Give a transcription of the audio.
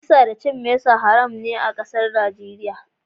Kisa da cin mesa haram ne a kasan Delta a'Nijeriya.